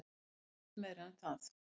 En ekkert meira en það.